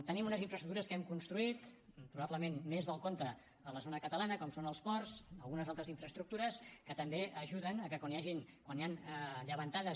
tenim unes infraestructures que hem construït probablement més del compte a la zona catalana com són els ports algunes altres infraestructures que també ajuden a que quan hi han llevantades